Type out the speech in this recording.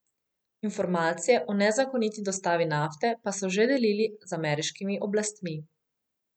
Informacije o nezakoniti dostavi nafte pa so že delili z ameriškimi oblastmi.